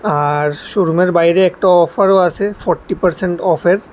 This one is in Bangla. আর শোরুমের বাইরে একটা অফারও আছে ফরটি পার্সেন্ট অফের।